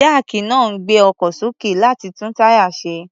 Jáàkì náà ń gbé ọkọ̀ sókè, láti tún táyà ṣe.